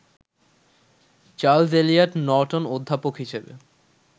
Charles Eliot Norton অধ্যাপক হিসেবে